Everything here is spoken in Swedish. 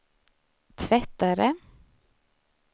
tvättare